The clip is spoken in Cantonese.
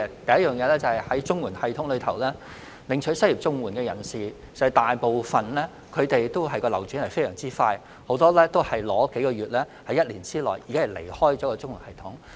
第一，在綜援系統下，領取失業綜援的人大部分流轉非常快，很多只是領取數個月，並在1年內離開綜援系統。